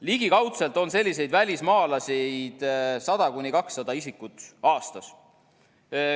Ligikaudu on selliseid välismaalasi 100–200 isikut aastas.